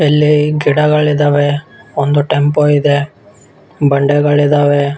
ಅಲ್ಲಿ ಗಿಡಗಳಿದ್ದಾವೆ ಒಂದು ಟೆಂಪೋ ಇದೆ ಬಂಡೆಗಳಿದ್ದಾವೆ .